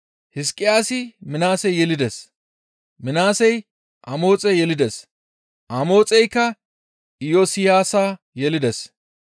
Hizqiyaasi Minaase yelides; Minaasey Amoxe yelides; Amoxey Iyosiyaasa yelides;